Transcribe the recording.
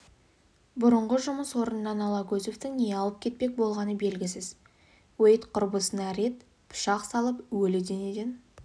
бұрынғы жұмыс орнынан алагөзовтың не алып кетпек болғаны белгісіз уэйд құрбысына рет пышақ салып өлі денеден